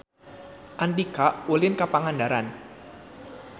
Andika ulin ka Pangandaran